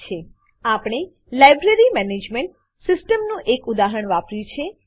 આપણે library management library management સીસ્ટમનું એક ઉદાહરણ વાપર્યું છે